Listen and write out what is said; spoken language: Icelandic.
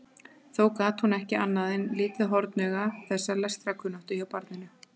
Þó gat hún ekki annað en litið hornauga þessa lestrarkunnáttu hjá barninu.